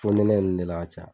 Fonɛnɛ nun ne la a ka ca.